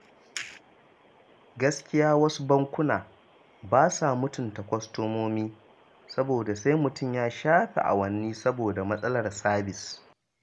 Gaskiya wasu bankunan ba sa mutunta kwastomomi, saboda sai mutum ya shafe awanni saboda matasalar sabis